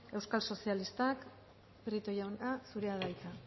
euskal sozialistak prieto jauna zurea da hitza